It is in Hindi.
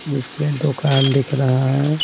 जिसमें दुकान दिख रहा है।